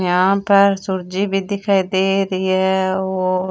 यहाँ पर सुरजे भी दिखाई दे रही है और--